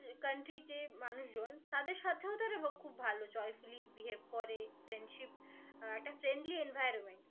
উহ country তে মানুষ জন তাদের সাথেও তো একটা খুব joyfully behave করে friendship আহ একটা friendly environment